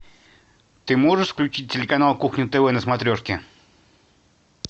ты можешь включить телеканал кухня тв на смотрешке